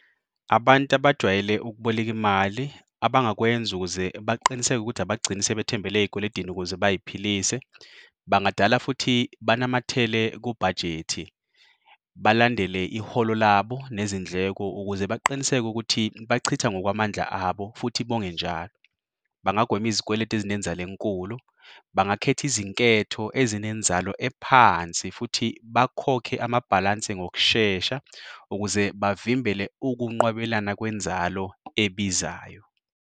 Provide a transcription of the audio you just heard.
Abantu abajwayele ukuboleka imali abangakwenza ukuze baqiniseke ukuthi abagcini sebethembele ey'kweledini ukuze bay'philise bangadala futhi banamathele kubhajethi, balandele iholo labo nezindleko ukuze baqiniseke ukuthi bachitha ngokwamandla abo futhi bonge njalo. Bangagwema izikweleti ezinenzalo enkulu, bangakhetha izinketho ezinenzalo ephansi, futhi bakhokhe amabhalansi ngokushesha ukuze bavimbele ukunqwabelana kwenzalo ebizayo.